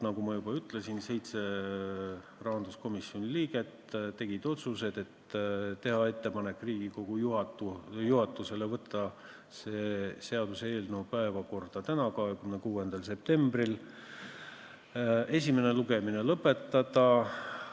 Nagu ma juba ütlesin, 7 rahanduskomisjoni liiget tegid otsuse teha Riigikogu juhatusele ettepanek võtta see seaduseelnõu päevakorda täna, 26. septembril ja esimene lugemine lõpetada.